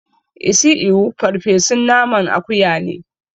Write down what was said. Isi ewu farfesun naman akuya ne